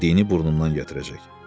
Yediyini burnundan gətirəcək.